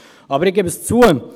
Ich gebe es zu: